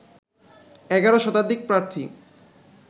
১১ শতাধিক প্রার্থী